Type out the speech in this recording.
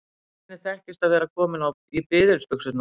Einnig þekkist að vera kominn í biðilsbuxurnar.